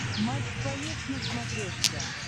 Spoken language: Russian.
матч боец на смотрешке